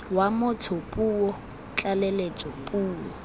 wa motho puo tlaleletso puo